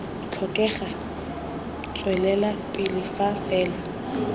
tlhokega tswelela pele fa fela